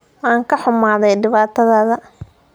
Waan ka xumahay dhibaatada?